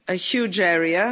huge area.